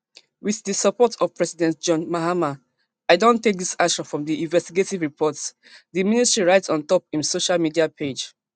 wit di support of president john mahama i don take dis action from di investigative report di ministry write on top im social media page